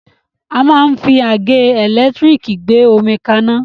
A máa ń fi àgẹ́ ẹ̀lẹ́tírìkì gbé omi kaná.